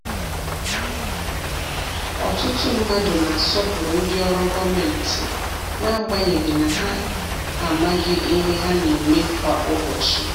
Ọtụtụ mmadụ na-asọpụrụ ndị ọrụ gomenti, n’agbanyeghị na ha amaghị ihe ha na-eme kwa ụbọchị.